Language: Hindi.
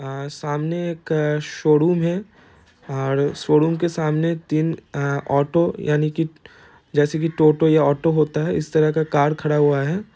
सामने एकशोडुम है शोडुम के सामने एक तीन ऑटो यानि की जैसे की टोटो या ऑटो होता है इस तरह का एक कार खड़ा हुआ है।